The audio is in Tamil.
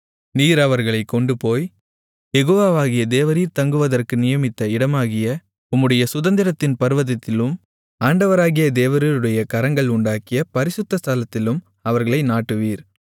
நீர் அவர்களைக் கொண்டுபோய் யெகோவாவாகிய தேவரீர் தங்குவதற்கு நியமித்த இடமாகிய உம்முடைய சுதந்திரத்தின் பர்வதத்திலும் ஆண்டவராகிய தேவரீருடைய கரங்கள் உண்டாக்கிய பரிசுத்த ஸ்தலத்திலும் அவர்களை நாட்டுவீர்